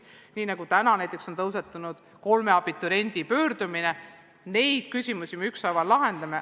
Näiteks täna on päevakorral kolme abituriendi pöördumine, neid küsimusi me ükshaaval lahendame.